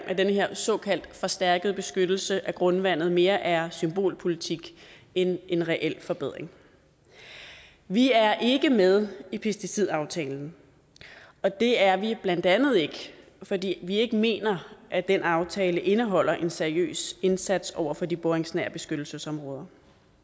at den her såkaldt forstærkede beskyttelse af grundvandet mere er symbolpolitik end en reel forbedring vi er ikke med i pesticidaftalen og det er vi blandt andet ikke fordi vi ikke mener at den aftale indeholder en seriøs indsats over for de boringsnære beskyttelsesområder